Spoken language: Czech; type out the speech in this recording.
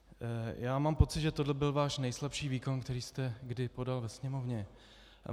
Já mám pocit, že tohle byl váš nejslabší výkon, který jste kdy podal ve Sněmovně.